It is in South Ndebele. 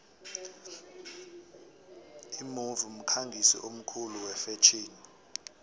imove mkhangisi omkhulu wefetjheni